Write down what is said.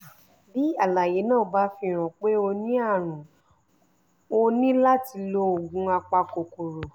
bí àlàyé náà bá fihàn pé o ní àrùn o ní láti lo oògùn apakòkòrò